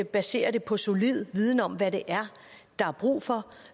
baserer det på solid viden om hvad det er der er brug for